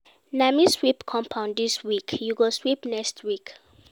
Na me sweep compound dis week, you go sweep next week.